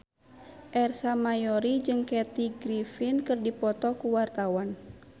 Ersa Mayori jeung Kathy Griffin keur dipoto ku wartawan